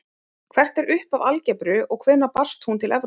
Hvert er upphaf algebru og hvenær barst hún til Evrópu?